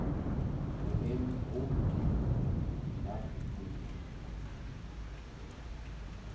boemo bo hodimo la molemi